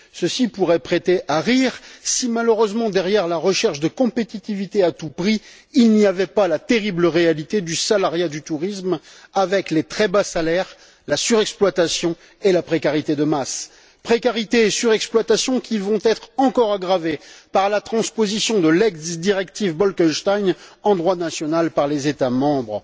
Ceci pourrait prêter à rire si malheureusement, derrière la recherche de compétitivité à tout prix, il n'y avait pas la terrible réalité du salariat du tourisme, avec les très bas salaires, la surexploitation et la précarité de masse. Précarité et surexploitation qui vont être encore aggravées par la transposition de l'ex directive Bolkestein en droit national par les États membres.